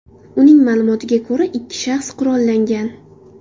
Uning ma’lumotiga ko‘ra, ikki shaxs qurollangan.